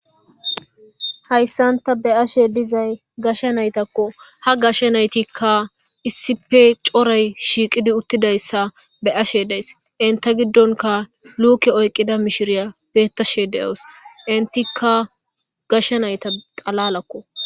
Hayssan tani be'ashshe dizay gashshe naytakko ha gashshe naytikka issipe coray shiiqidi uttidayssa be'ashshe days inta giddonkka luuke oyqida mishiriya beettashe de'awus intikka gashshe nayta xalalakko